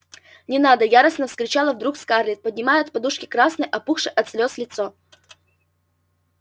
не надо яростно вскричала вдруг скарлетт поднимая от подушки красное опухшее от слез лицо